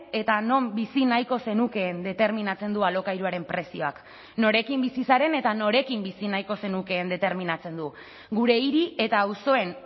eta non bizi nahiko zenukeen determinatzen du alokairuaren prezioak norekin bizi zaren eta norekin bizi nahiko zenukeen determinatzen du gure hiri eta auzoen